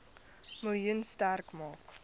miljoen sterk maak